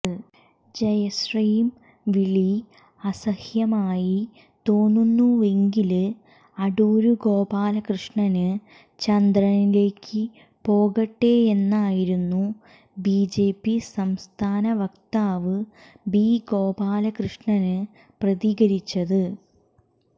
ജയ്ശ്രീം വിളി അസഹ്യമായി തോന്നുന്നുവെങ്കില് അടൂര്ഗോപാലകൃഷ്ണന് ചന്ദ്രനിലേക്ക് പോകട്ടേയെന്നായിരുന്നു ബിജെപി സംസ്ഥാന വക്താവ് ബി ഗോപാലകൃഷ്ണന് പ്രതികരിച്ചത്